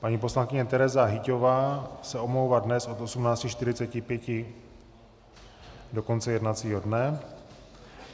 Paní poslankyně Tereza Hyťhová se omlouvá dnes od 18.45 do konce jednacího dne.